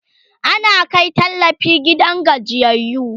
ana Kai tallafi gidajen gajiyayyu